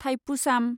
Thaipusam